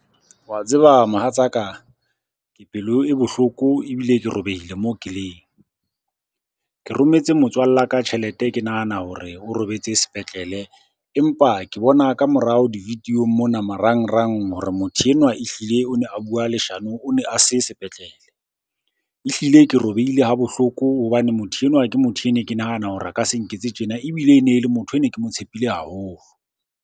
Wa tseba mohatsaka, ke pelo e bohloko ebile ke robehile moo ke leng. Ke rometse motswalla ka tjhelete ke nahana hore o robetse sepetlele, empa ke bona ka morao di-video-ong mona marangrang hore motho enwa ehlile o ne a bua leshano o ne a se sepetlele. Ehlile ke robehile ha bohloko hobane motho enwa ke motho e ne ke nahana hore a ka se nketse tjena, ebile e ne e le motho e ne ke mo tshepile haholo.